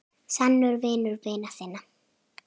Sannur vinur vina sinna.